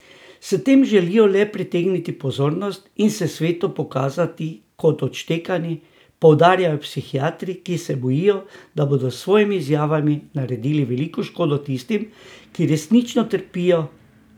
S tem želijo le pritegniti pozornost in se svetu pokazati kot odštekani, poudarjajo psihiatri, ki se bojijo, da bodo s svojimi izjavami naredili veliko škode tistim, ki resnično trpijo.